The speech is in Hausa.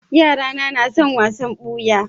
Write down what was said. Yarana na son wasan buya.